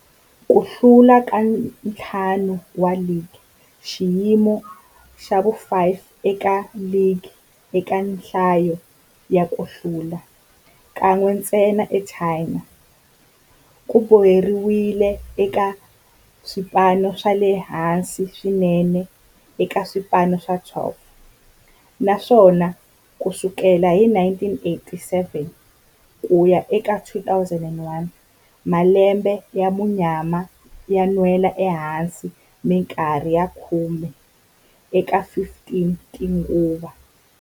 Ku hlula ka ntlhanu wa ligi, xiyimo xa vu-5 eka ligi eka nhlayo ya ku hlula, kan'we ntsena eChina, ku boheleriwile eka swipano swa le hansi swinene eka swipano swa 12, naswona ku sukela hi 1987 ku ya eka 2001, malembe ya munyama yo nwela ehansi minkarhi ya khume eka 15 tinguva.